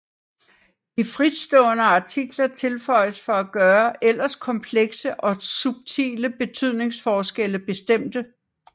De fritstående artikler tilføjes for at gøre ellers komplekse og subtile betydningsforskelle bestemte